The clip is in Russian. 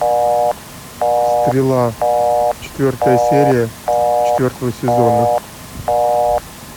стрела четвертая серия четвертого сезона